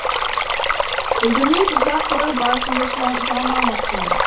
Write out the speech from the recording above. білдірмей тұзақ құрып басыңды жалмамасын